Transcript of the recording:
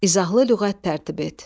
İzahlı lüğət tərtib et.